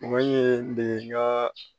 Mɔgɔ ye de ka